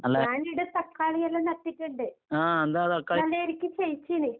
ഞാനിവടെ തക്കാളിയെല്ലാം നട്ടിട്ടൊണ്ട്.